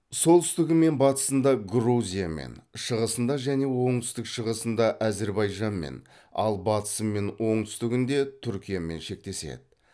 солтүстігі мен батысында грузиямен шығысында және оңтүстік шығысында әзірбайжанмен ал батысы мен оңтүстігінде түркиямен шектеседі